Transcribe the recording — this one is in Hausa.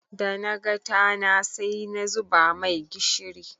Da naga tana sai na zuba mai gishiri.